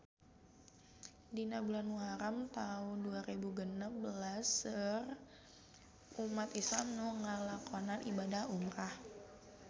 Dina bulan Muharam taun dua rebu genep belas seueur umat islam nu ngalakonan ibadah umrah